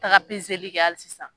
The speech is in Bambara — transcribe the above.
Taga pezeli kɛ hali sisan.